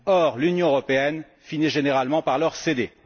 Or, l'Union européenne finit généralement par leur céder.